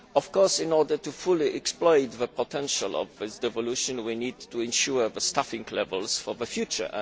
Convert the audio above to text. Of course, in order to fully exploit the potential of devolution we need to ensure staffing levels for the future.